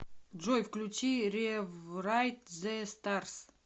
джой включи реврайт зе старс